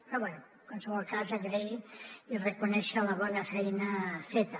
però bé en qualsevol cas agrair i reconèixer la bona feina feta